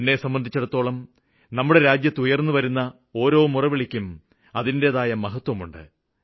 എന്നെ സംബന്ധിച്ചിടത്തോളം നമ്മുടെ രാജ്യത്ത് ഉയര്ന്നുവരുന്ന ഓരോ മുറവിളിക്കും അതിന്റേതായ മഹത്വമുണ്ട്